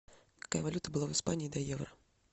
какая валюта была в испании до евро